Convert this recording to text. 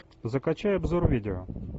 закачай обзор видео